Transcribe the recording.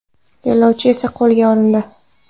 Yo‘lovchi esa qo‘lga olindi.